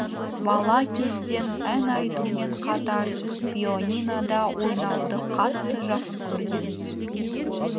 бала кезден ән айтумен қатар пианинода ойнауды қатты жақсы көрген